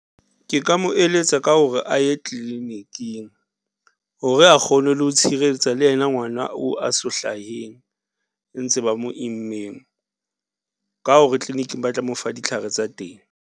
Ke ka mo eletsa ka hore a ye clinic-ing hore a kgone le ho tshireletsa le ena ngwana oo a so hlaheng, ntse ba mo immeng ka hore clinic-ing ba tla mo fa ditlhare tsa teng.